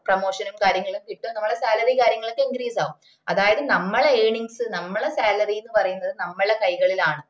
promotion ഉം കാര്യങ്ങളും കിട്ടും നമ്മളെ salary കാര്യങ്ങളൊക്കെ increase ആവും അതായത് നമ്മള earnings നമ്മള salary എന്ന് പറയുന്നത് നമ്മള കൈകളിലാണ്